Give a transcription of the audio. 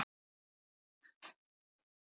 Þá er Ófærð á enda.